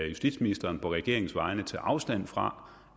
justitsministeren på regeringens vegne tage afstand fra